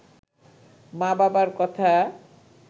মা-বাবার কথা